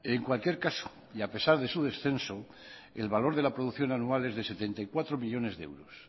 en cualquier caso y a pesar de su descenso el valor de la producción anual es de setenta y cuatro millónes de euros